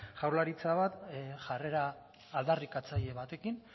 jaurlaritza bat jarrera aldarrikatzaile batekin